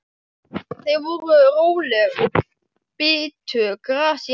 Þau voru róleg og bitu gras í ákafa.